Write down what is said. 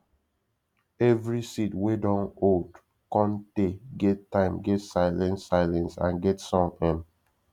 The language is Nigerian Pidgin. every seed wey dun old cun tay get time get silence silence and get song um